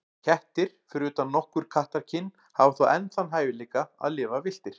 Kettir, fyrir utan nokkur kattakyn, hafa þó enn þann hæfileika að lifa villtir.